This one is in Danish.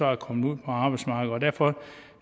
er kommet ud på arbejdsmarkedet og derfor